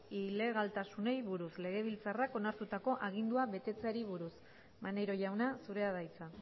ilegaltasunei buruz legebiltzarrak onartutako agindua betetzeari buruz maneiro jauna zurea da hitza